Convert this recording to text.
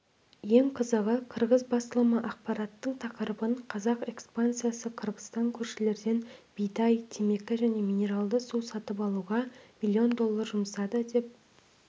ең қызығы қырғыз басылымы ақпараттың тақырыбын қазақ экспансиясы қырғызстан көршілерден бидай темекі және минералды су сатып алуға миллион доллар жұмсады деп